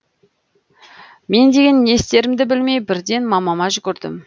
мен деген не істерімді білмей бірден мамама жүгірдім